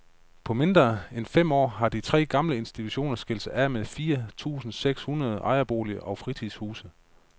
På mindre end fem år har de tre gamle institutter skilt sig af med fire tusinde seks hundrede ejerboliger og fritidshuse.